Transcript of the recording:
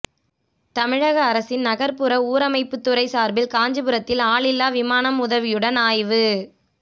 தமிழக அரசின் நகர்ப்புற ஊரமைப்புத்துறை சார்பில் காஞ்சிபுரத்தில் ஆளில்லா விமானம் உதவியுடன் ஆய்வு